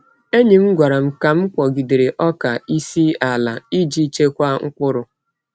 Enyi m gwara m ka m kpọgidere ọka n’isi ala iji chekwaa mkpụrụ.